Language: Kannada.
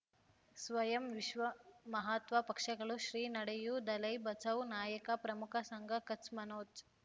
ಸ್ವಯಂ ವಿಶ್ವ ಮಹಾತ್ಮ ಪಕ್ಷಗಳು ಶ್ರೀ ನಡೆಯೂ ದಲೈ ಬಚೌ ನಾಯಕ ಪ್ರಮುಖ ಸಂಘ ಕಚ್ ಮನೋಜ್